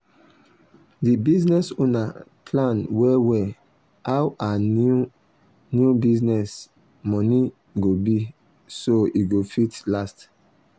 d business owner plan well well how her new new business money go be so e go fit last